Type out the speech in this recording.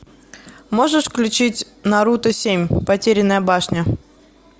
можешь включить наруто семь потерянная башня